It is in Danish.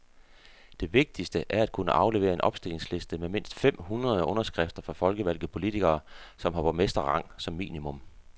Det vigtigste er at kunne aflevere en opstillingsliste med mindst fem hundrede underskrifter fra folkevalgte politikere, som har borgmesterrang som minimum.